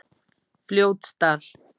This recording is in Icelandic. Fljótsdal